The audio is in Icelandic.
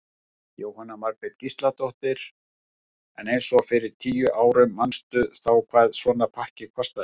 Jóhanna Margrét Gísladóttir: En eins og fyrir tíu árum manstu þá hvað svona pakki kostaði?